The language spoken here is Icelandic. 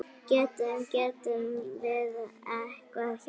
Getum, getum við eitthvað hjálpað?